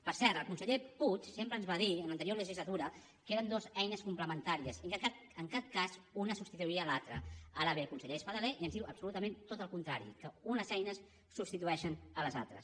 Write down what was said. per cert el conseller puig sempre ens va dir en l’anterior legislatura que eren dues eines complementàries i que en cap cas una substituiria l’altra ara ve el conseller espadaler i ens diu absolutament tot el contrari que unes eines substitueixen les altres